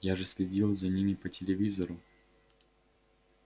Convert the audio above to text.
я же следил за ними по телевизору